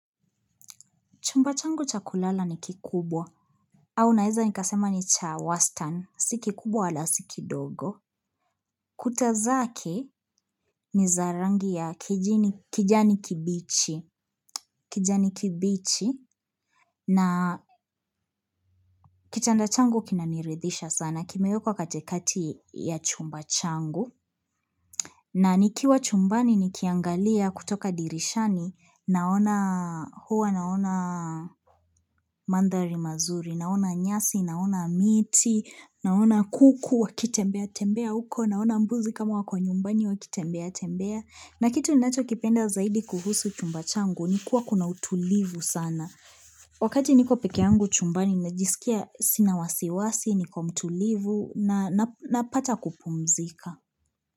Chumba changu cha kulala ni kikubwa, au naeza nikasema ni cha wastan, si kikubwa wala si kidogo. Kuta zake ni za rangi ya kijani kibichi, kijani kibichi, na kitanda changu kinaniridhisha sana, kimewekwa katikati ya chumba changu. Na nikiwa chumbani nikiangalia kutoka dirishani naona huwa naona mandhari mazuri naona nyasi naona miti naona kuku wakitembea tembea huko naona mbuzi kama wako nyumbani wakitembea tembea na kitu ninachokipenda zaidi kuhusu chumba changu ni kuwa kuna utulivu sana. Wakati niko peke yangu chumbani najisikia sina wasiwasi niko mtulivu na napata kupumzika.